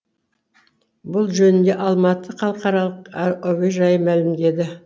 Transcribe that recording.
бұл жөнінде алматы халықаралық әуежайы мәлімдеді